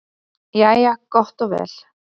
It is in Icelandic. Jæja gott og vel.